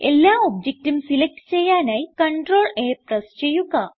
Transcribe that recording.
എല്ലാ ഒബ്ജക്റ്റും സിലക്റ്റ് ചെയ്യാനായി CTRL A പ്രസ് ചെയ്യുക